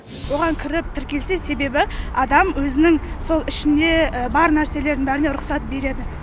оған кіріп тіркелсе себебі адам өзінің сол ішіне бар нәрселердің бәріне рұқсат береді